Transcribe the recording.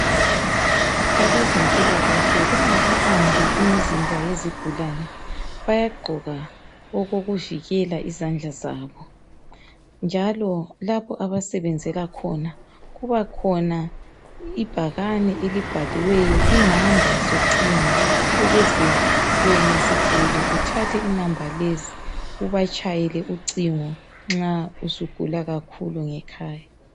abezempilakahle bengakabambi imizimba yezigulane bayagqoka okokuvikela izandla zabo njalo lapho abasebenzela khona kuba khona ibhakane elibhaliweyo inamba zocingo ukuba wena sigulane uthathe inamba lezi ubatshayele ucingo uma usugula kakhulu.